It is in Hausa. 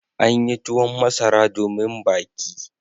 An yi tuwon masara domin baki.